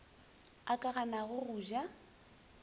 a ka ganago go ja